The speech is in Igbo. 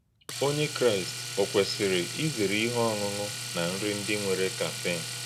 Ọ̀nyè̄ Kráịst ọ̀ k̀wèsì̄rì̄ ízèrè̄ íhè̄ ọ̀ṅụ̀ṅụ̀ na nrí̄ ndị́ nwèrè̄ càffèìnè̄?